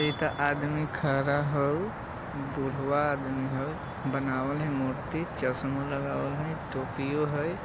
येता आदमी खड़ा हउ बुढ़वा आदमी हउ बनावल है मूर्ति चश्मा लगावल हई टोपीयों हई ।